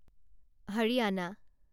Haryana